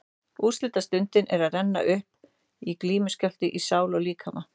Úrslitastundin var að renna upp og glímuskjálfti í sál og líkama.